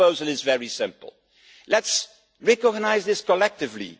Our proposal is very simple let us recognise this collectively